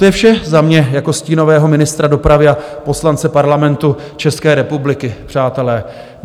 To je vše za mě jako stínového ministra dopravy a poslance Parlamentu České republiky, přátelé.